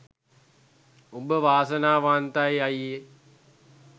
උඹ වාසනාවන්තයි අයියෙ